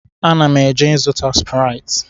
Ana m eje ịzụta sụpụrịtị